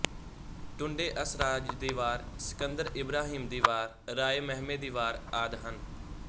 ਟੁੱਡੇ ਅਸਰਾਜ ਦੀ ਵਾਰ ਸਿਕੰਦਰਿ ਇਬਰਾਹੀਮ ਦੀ ਵਾਰ ਰਾਏ ਮਹਿਮੇ ਦੀ ਵਾਰ ਆਦਿ ਹਨ